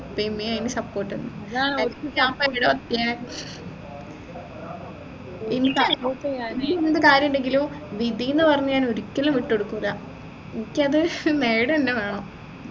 ഉപ്പയും ഉമ്മയും അയിന് support നിന്ന് എൻെറ എന്ത് കാര്യമുണ്ടെങ്കിലും വിധിന്ന് പറഞ്ഞു ഞാൻ ഒരിക്കലും വിട്ടുകൊടുക്കൂലഎനിക്കത് നേടു എന്നെ വേണം